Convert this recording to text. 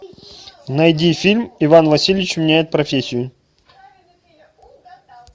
найди фильм иван васильевич меняет профессию